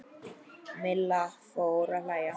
Milla fór að hlæja.